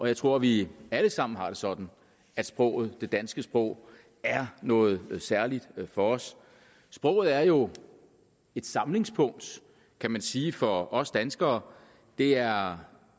jeg tror vi alle sammen har det sådan at sproget det danske sprog er noget særligt for os sproget er jo et samlingspunkt kan man sige for os danskere det er